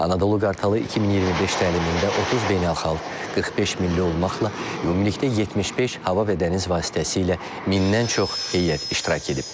Anadolu Qartalı 2025 təlimində 30 beynəlxalq, 45 milli olmaqla ümumilikdə 75 hava və dəniz vasitəsilə mindən çox heyət iştirak edib.